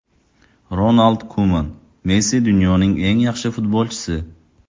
Ronald Kuman: Messi dunyoning eng yaxshi futbolchisi.